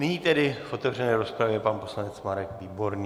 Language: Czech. Nyní tedy v otevřené rozpravě pan poslanec Marek Výborný.